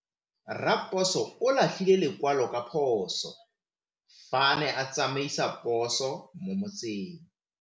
Raposo o latlhie lekwalô ka phosô fa a ne a tsamaisa poso mo motseng.